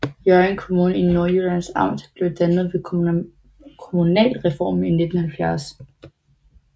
Hjørring Kommune i Nordjyllands Amt blev dannet ved kommunalreformen i 1970